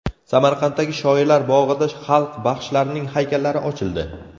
Samarqanddagi Shoirlar bog‘ida xalq baxshilarining haykallari ochildi.